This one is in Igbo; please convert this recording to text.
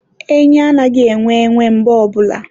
enyi anaghị enwe enwe mbọ ọbụla.